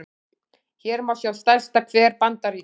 hér má sjá stærsta hver bandaríkjanna